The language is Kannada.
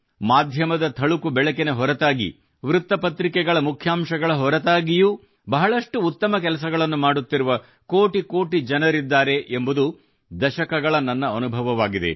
ಮಾಧ್ಯಮದ ಥಳಕು ಬೆಳಕಿನ ಹೊರತಾಗಿ ವೃತ್ತ ಪತ್ರಿಕೆಗಳ ಮುಖ್ಯಾಂಶಗಳ ಹೊರತಾಗಿಯೂ ಬಹಳಷ್ಟು ಉತ್ತಮ ಕೆಲಸಗಳನ್ನು ಮಾಡುತ್ತಿರುವ ಕೋಟಿ ಕೋಟಿ ಜನರಿದ್ದಾರೆ ಎಂಬುದು ದಶಕಗಳ ನನ್ನ ಅನುಭವವಾಗಿದೆ